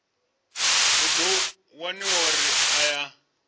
hu ḓo waniwa uri aya